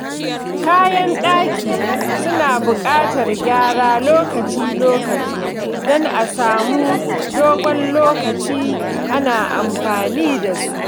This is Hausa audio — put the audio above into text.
Kayan ɗaki suna buƙatar gyara lokaci-lokaci don a samu dogon lokaci ana amfani da su.